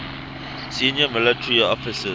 senior military officers